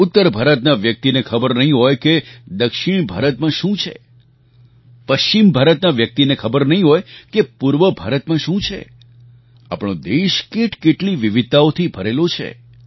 ઉત્તર ભારતના વ્યક્તિને ખબર નહીં હોય કે દક્ષિણ ભારતમાં શું છે પશ્ચિમ ભારતના વ્યક્તિને ખબર નહીં હોય કે પૂર્વ ભારતમાં શું છે આપણો દેશ કેટકેટલી વિવિધતાઓથી ભરેલો છે